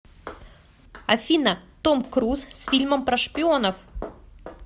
афина том круз с фильмом про шпионов